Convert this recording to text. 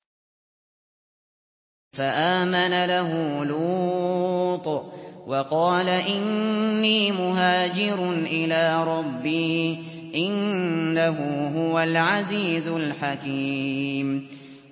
۞ فَآمَنَ لَهُ لُوطٌ ۘ وَقَالَ إِنِّي مُهَاجِرٌ إِلَىٰ رَبِّي ۖ إِنَّهُ هُوَ الْعَزِيزُ الْحَكِيمُ